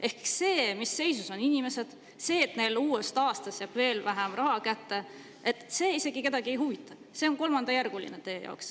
Ehk see, mis seisus on inimesed, see, et neile uuest aastast jääb veel vähem raha kätte, isegi kedagi ei huvita, see on teie kõigi jaoks kolmandajärguline.